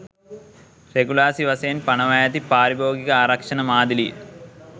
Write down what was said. රෙගුලාසි වශයෙන් පනවා ඇති පාරිභෝගික ආරක්ෂණ මාදිලිය.